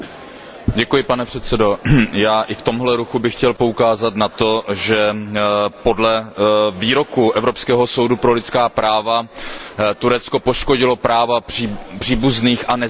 Pane předsedající, já, i v tomhle ruchu, bych chtěl poukázat na to, že podle výroku Evropského soudu pro lidská práva Turecko poškodilo práva příbuzných a nezvěstných.